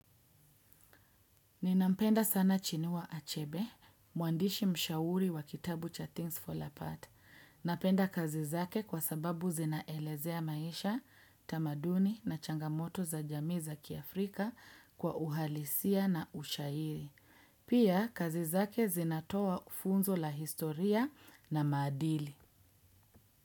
Ninampenda sana Chinua Achebe, muandishi mshauri wa kitabu cha Things Fall Apart. Napenda kazi zake kwa sababu zinaelezea maisha, tamaduni na changamoto za jamii za kiafrika kwa uhalisia na ushairi. Pia kazi zake zinatoa funzo la historia na maadili.